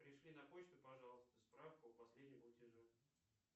пришли на почту пожалуйста справку о последнем платеже